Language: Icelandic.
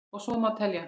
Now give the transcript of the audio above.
Og svo má telja.